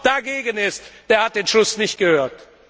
Wer noch dagegen ist, der hat den Schuss nicht gehört.